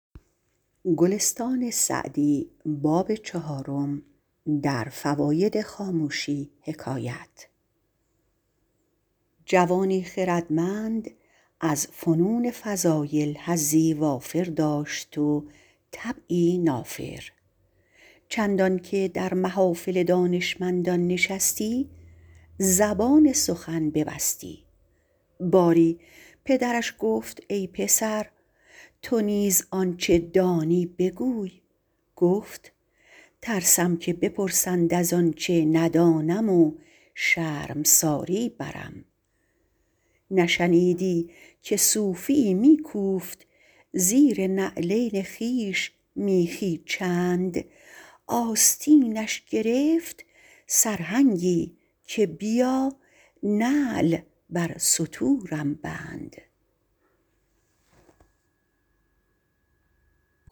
جوانی خردمند از فنون فضایل حظی وافر داشت و طبعی نافر چندان که در محافل دانشمندان نشستی زبان سخن ببستی باری پدرش گفت ای پسر تو نیز آنچه دانی بگوی گفت ترسم که بپرسند از آنچه ندانم و شرمساری برم نشنیدی که صوفی یی می کوفت زیر نعلین خویش میخی چند آستینش گرفت سرهنگی که بیا نعل بر ستورم بند